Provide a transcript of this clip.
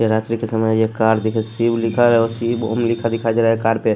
रात्रि के समय ये कार देख शिव लिखा है शिव ॐ लिखा दिखाई दे रहा है कार पे ---